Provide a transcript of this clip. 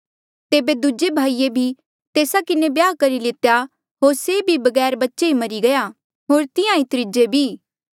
तेबे दूजे भाईऐ भी तेस्सा किन्हें ब्याह करी लितेया होर से भी बगैर बच्चे मरी गया होर तिहां ईं त्रीजे भी